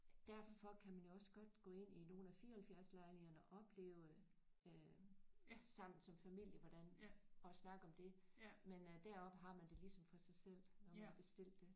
Derfor kan man jo også godt gå ind i nogle af 74 lejlighederne og opleve øh sammen som familie hvordan og snakke om det men øh deroppe har man det ligesom for sig selv når man har bestilt det